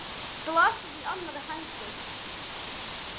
Glasið í annarri hendi.